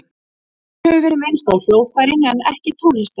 Hér hefur verið minnst á hljóðfærin en ekki tónlistina.